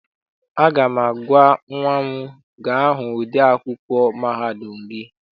Aga m agwa nnwa m, gaa hụ ode akwụkwọ mahadum gị!